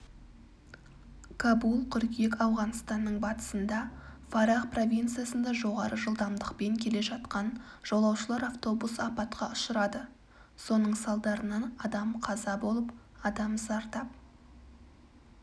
кабул қыркүйек ауғанстанның батысында фарах провинциясында жоғары жылдамдықпен келе жатқан жолаушылар автобусы апатқа ұшырады соның салдарынан адам қаза болып адам зардап